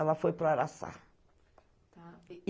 Ela foi para o Araçá.